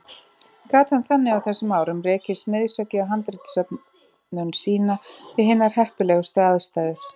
Gat hann þannig á þessum árum rekið smiðshöggið á handritasöfnun sína við hinar heppilegustu aðstæður.